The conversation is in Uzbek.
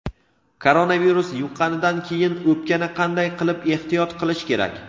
Koronavirus yuqqanidan keyin o‘pkani qanday qilib ehtiyot qilish kerak?.